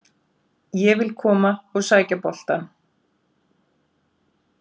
Ég vil koma og sækja boltann.